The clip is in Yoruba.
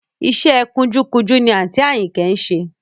Iṣẹ́ ẹ kunjúkunjú ni àǹtí Àyìnkẹ́ ń ṣe